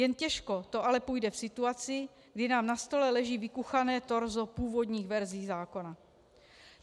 Jen těžko to ale půjde v situaci, kdy nám na stole leží vykuchané torzo původních verzí zákona.